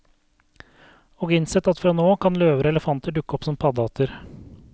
Og innsett at fra nå av kan løver og elefanter dukke opp som paddehatter.